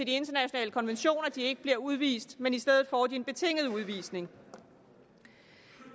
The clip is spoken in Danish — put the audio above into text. internationale konventioner at de ikke bliver udvist men i stedet får en betinget udvisning